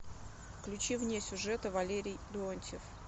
включи вне сюжета валерий леонтьев